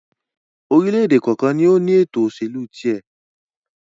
orílẹ̀-èdè kọ̀ọ̀kan ni ó ní ètò-ìsèlú tiẹ̀.